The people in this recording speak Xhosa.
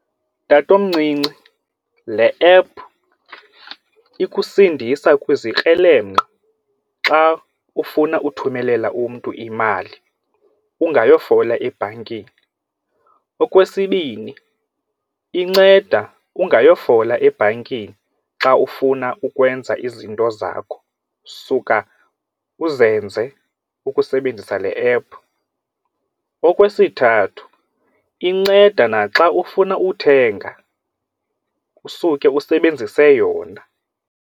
Tatomncinci, le app ikusindisa kwezikrelemnqa xa ufuna uthumelela umntu imali ungayofola ebhankini. Okwesibini, inceda ungayofola ebhankini xa ufuna ukwenza izinto zakho, suka uzenze ukusebenzisa le app. Okwesithathu, inceda naxa ufuna uthenga usuke usebenzise yona.